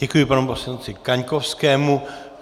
Děkuji panu poslanci Kaňkovskému.